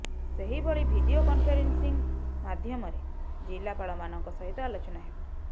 ସେହିଭଳି video conferencing ମାଧ୍ୟମରେ ଜିଲ୍ଲାପାଳମାନଙ୍କ ସହିତ ଆଲୋଚନା ହେବ